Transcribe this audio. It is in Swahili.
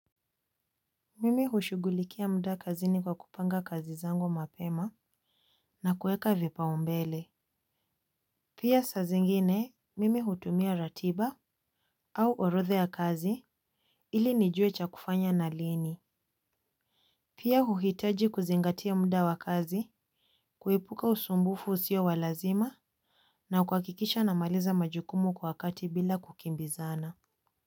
Mimi hushughulikia mda kazini kwa kupanga kazi zangu mapema na kueka vipaumbele. Pia saa zingine mimi hutumia ratiba au orodha ya kazi ili nijue cha kufanya na lini. Pia huhitaji kuzingatia mda wa kazi kuepuka usumbufu usio wa lazima na kuhakikisha namaliza majukumu kwa wakati bila kukimbizana.